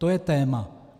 To je téma.